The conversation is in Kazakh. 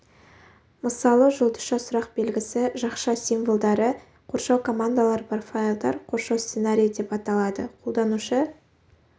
мысалы жұлдызша сұрақ белгісі жақша символдары қоршау командалары бар файлдар қоршау сценарийі деп аталады қолданушы